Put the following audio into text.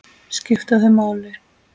Skipta þau máli?